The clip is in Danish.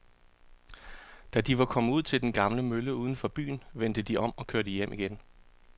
Da de var kommet ud til den gamle mølle uden for byen, vendte de om og kørte hjem igen.